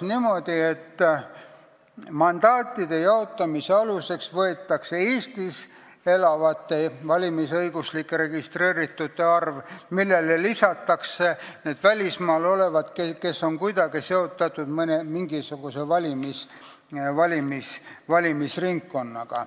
niimoodi, et mandaatide jaotamise aluseks võetakse Eestis elavate valimisõiguslike registreeritute arv, millele lisatakse need välismaal olevad inimesed, kes on kuidagi seotud mingisuguse valimisringkonnaga.